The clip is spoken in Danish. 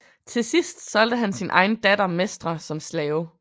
Til sidst solgte han sin egen datter Mestra som slave